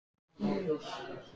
Að framan er hún kúpt og gegnsæ.